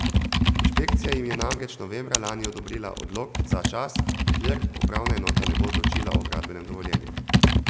Inšpekcija jim je namreč novembra lani odobrila odlog za čas, dokler upravna enota ne bo odločila o gradbenem dovoljenju.